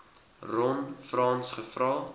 ron frans gevra